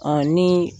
ni